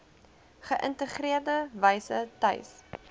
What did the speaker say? geïntegreerde wyse tuis